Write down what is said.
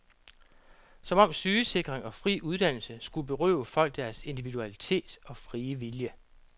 Som om sygesikring og fri uddannelse skulle berøve folk deres individualitet og frie vilje.